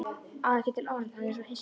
Á ekki til orð, hann er svo hissa.